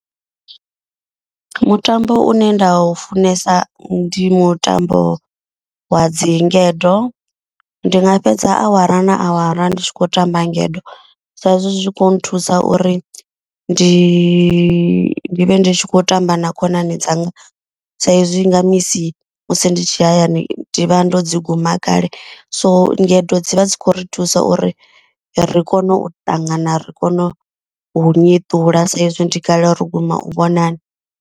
Mutambo une nda u funesa ndi mutambo wa dzi ngedo. Ndi nga fhedza awara na awara ndi tshi khou tamba ngedo. Sa izwi zwi tshi kho nthusa uri ndi vhe ndi khou tamba na khonani dzanga. Saizwi nga misi musi ndi tshi hayani ndi vha ndo dzi guma kale. So ngedo dzi vha dzi khou ri thusa uri ri kone u ṱangana ri kone u nyeṱula saizwi ndi kale ro guma u vhonana.